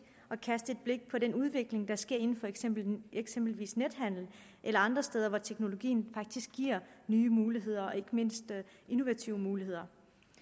at kaste et blik på den udvikling der sker inden for eksempelvis eksempelvis nethandel eller andre steder hvor teknologien faktisk giver nye muligheder og ikke mindst innovative muligheder